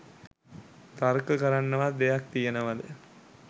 තර්ක කරන්නවත් දෙයක් තියෙනවද